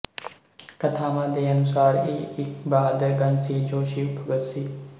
ਕਥਾਵਾਂ ਦੇ ਅਨੁਸਾਰ ਇਹ ਇੱਕ ਬਹਾਦਰ ਗਣ ਸੀ ਜੋ ਸ਼ਿਵ ਭਗਤ ਸੀ